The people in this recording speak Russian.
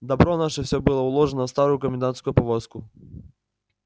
добро наше всё было уложено в старую комендантскую повозку